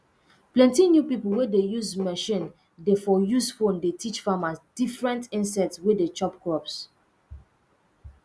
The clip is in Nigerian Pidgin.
plenty new pipo wey dey use machine de um use phone de teach farmers different insect wey dey chop crops